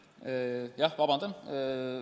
Jah, vabandan!